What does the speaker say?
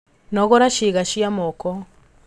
Nogora ciĩga cia moko